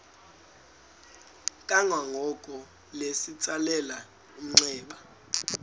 kwangoko litsalele umnxeba